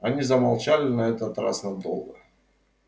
они замолчали на этот раз надолго